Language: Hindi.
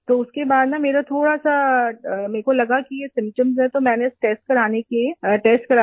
तो उसके बाद ना मेरा थोड़ा सा मुझे लगा कि ये सिम्पटम्स है तो मैंने टेस्ट कराने के लिए टेस्ट कराया